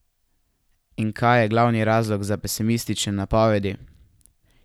In kaj je glavni razlog za pesimistične napovedi?